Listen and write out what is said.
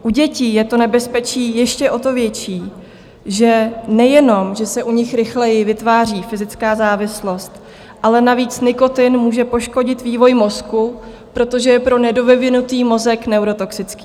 U dětí je to nebezpečí ještě o to větší, že nejenom že se u nich rychleji vytváří fyzická závislost, ale navíc nikotin může poškodit vývoj mozku, protože je pro nedovyvinutý mozek neurotoxický.